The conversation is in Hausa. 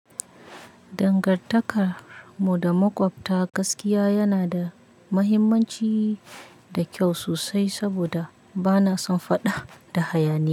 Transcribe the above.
Dangantakar mu da makwabta gaskiya yana da mahimmanci da kyau sosai saboda bana son faɗa da hayaniya.